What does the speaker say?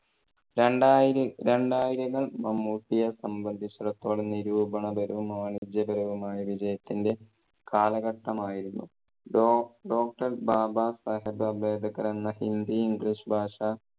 രണ്ടായിര~ രണ്ടായിരങ്ങൾ മമ്മൂട്ടിയേ സംബന്ധിച്ചിടത്തോളം നിരൂപണപരവും, വാണിജ്യപരവുമായ വിജയത്തിന്റെ കാലഘട്ടമായിരുന്നു. doc~Doctor ബാബ സാഹേബ് അംബേദ്‌കർ എന്ന ഹിന്ദി english ഭാഷ